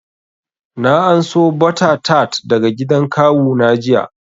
Na anso butter tart daga gidan kawu na jiya